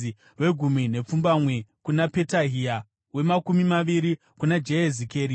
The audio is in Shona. wegumi nepfumbamwe kuna Petahia, wemakumi maviri kuna Jehezikeri,